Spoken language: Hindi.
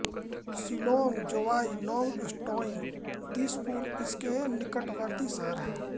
शिलॉन्ग जोवाई नोंगस्टोइन दिसपुर इसके निकटवर्त्ती शहर हैं